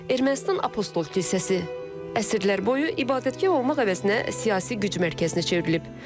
Ermənistan Apostol kilsəsi əsrlər boyu ibadətgah olmaq əvəzinə siyasi güc mərkəzinə çevrilib.